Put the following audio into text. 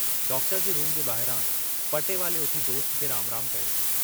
Doctor जे room जे ॿाहिरां पटेवाले उथी दोस्त खे राम राम कयो।